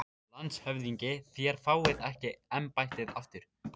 LANDSHÖFÐINGI: Þér fáið ekki embættið aftur